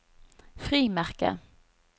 frimerker